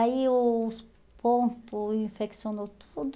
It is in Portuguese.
Aí, os ponto, infeccionou tudo.